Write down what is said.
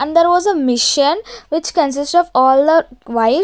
And there was a machine which consist of all the while.